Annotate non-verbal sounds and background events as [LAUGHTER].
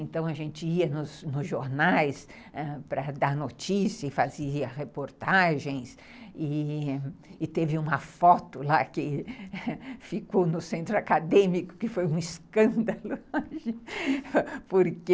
Então a gente ia nos jornais ãh para dar notícias, fazia reportagens e e teve uma foto lá que [LAUGHS] ficou no centro acadêmico que foi um escândalo, [LAUGHS] porque